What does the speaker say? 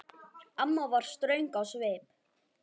Amma var ströng á svip.